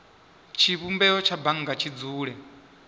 tshivhumbeo tsha bannga tshi dzule